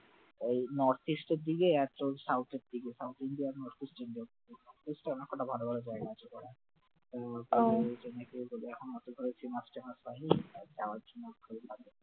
এই north east এর দিকে একটা south এর দিকে south india আর north east india north east এ অনেক কটা ভালো ভালো জায়গা আছে ঘোরার যে mutual করবে এখনও অচল করা